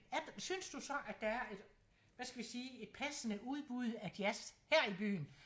Synes du så at der er et hvad skal vi sige et passende udbud af jazz her i byen?